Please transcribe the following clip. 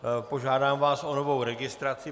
Požádám vás o novou registraci.